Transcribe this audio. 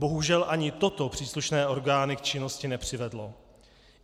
Bohužel ani toto příslušné orgány k činnosti nepřivedlo.